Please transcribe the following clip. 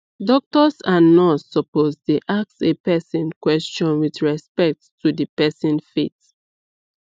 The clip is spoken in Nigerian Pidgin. doctors and nurse supposed dey ask a person question with respect to the person faith